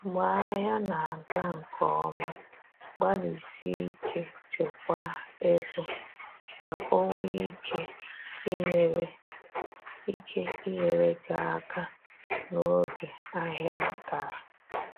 Mgbe ahịa na aga nke ọma, gbalịsie ike chekwaa ego, ka o nwee ike inyere ike inyere gị aka n’oge ahịa dara